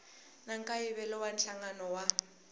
na nkayivelo wa nhlangano wa